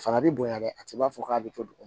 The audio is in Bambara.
A fana bi bonya dɛ a ti b'a fɔ k'a bɛ to dugu ma